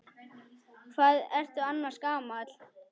Hvað ertu annars gamall?